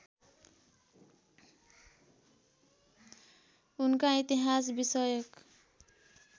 उनका इतिहास विषयक